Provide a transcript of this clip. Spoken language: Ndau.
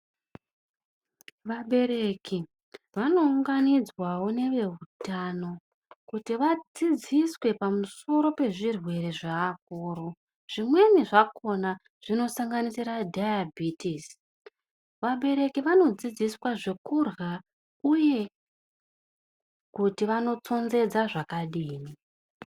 Vabereki vanounganidzwavo neveutano kuti vadzidziswe pamusoro pezvirwere zveakuru. Zvimweni zvakona zvinosanganisire Dhayabhitisi. Vabereki vanodzidziswe zvekurha uye kuti vanotsonzedze zvakadini.